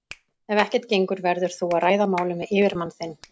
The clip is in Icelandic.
Ef ekkert gengur verður þú að ræða málin við yfirmann þinn.